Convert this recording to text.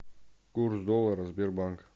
курс доллара сбербанк